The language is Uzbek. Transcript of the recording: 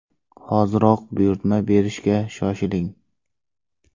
Hoziroq buyurtma berishga shoshiling!.